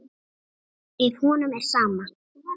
Ef honum er sama.